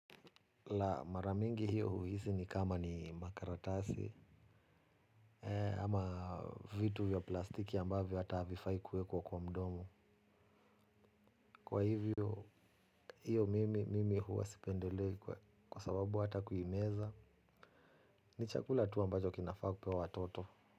La, mara mingi hio huisi ni kama ni makaratasi. Ama vitu vya plastiki ambavyo hata havifai kuwekwa kwa mdomo. Kwa hivyo. Iyo, mimi huwa spendelei kwa sababu hata kuimeza, ni chakula tu ambacho kinafaa kupewa watoto.